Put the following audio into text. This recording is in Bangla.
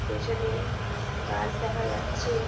পেছনে-এ গাছ দেখা যাচ্ছে ।